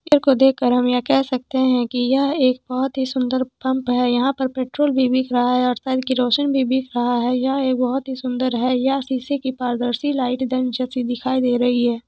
को देख कर हम यह कह सकते हैं कि यह एक बहुत ही सुंदर पंप है यहां पर पेट्रोल भी बिक रहा है और घर भी बिक रहा है यह एक बहुत ही सुंदर है यहां सीसी पारदर्शी लाइट दिखाई दे रही है।